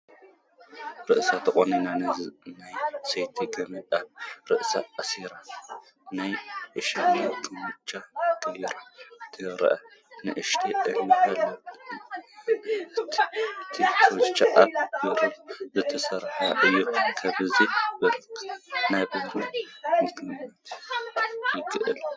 ርእሳ ተቖኒና፣ ናይ ሰቲ ገመድ ኣብ ርእሳ ኣሲራ፣ ናይ እሽኒ ኩትቻ ገይራ ትርአ ንእስቲ እኔህቶ፡፡ እቲ ኩትቻአ ካብ ብሩር ዝተሰርሐ እዩ፡፡ ካብዚ ብርኪ ናብርኣ ምግማት ይከኣል፡፡